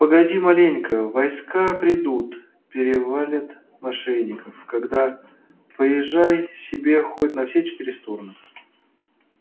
погоди маленько войска придут перевалят мошенников тогда поезжай себе хоть на все четыре стороны